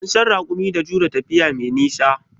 An san raƙumi da jure tafiya mai nisa.